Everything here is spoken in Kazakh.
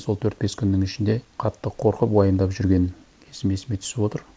сол төрт бес күннің ішінде қатты қорқып уайымдап жүрген кезім есіме түсіп отыр